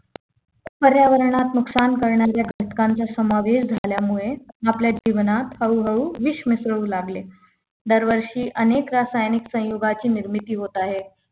पर्यावरणात नुकसान करणाऱ्या घटकांचा समावेश झाल्यामुळे आपल्या जीवनात हळूहळू विष मिसळू लागले दरवर्षी अनेक रासायनिक संयुगाची निर्मिती होत आहे